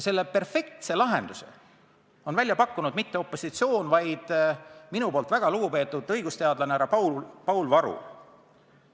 Perfektset lahendust ei ole välja pakkunud mitte opositsioon, vaid minu hinnangul väga lugupeetud õigusteadlane härra Paul Varul.